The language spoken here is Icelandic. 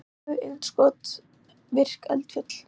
kviku-innskot virk eldfjöll